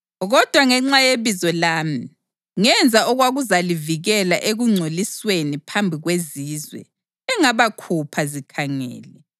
Kodwa ngenxa yebizo lami, ngenza okwakuzalivikela ekungcolisweni phambi kwezizwe engabakhupha zikhangele.